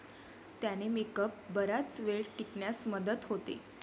त्याने मेकअप बराच वेळ टिकण्यास मदत होते.